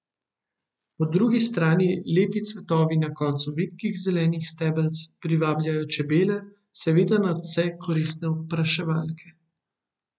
Po drugi strani lepi cvetovi na koncu vitkih zelenih stebelc privabljajo čebele, seveda nadvse koristne opraševalke.